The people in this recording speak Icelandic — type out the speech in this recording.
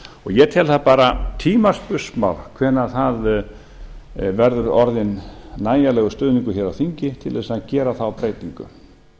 ég tel það bara tímaspursmál hvenær það verður orðinn nægjanlegur stuðningur hér á þingi til þess að gera þá breytingu